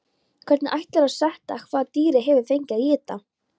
Hvernig ætlarðu að sanna hvað dýrið hefur fengið að éta?